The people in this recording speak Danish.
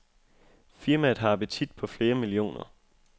Firmaet har appetit på flere millioner.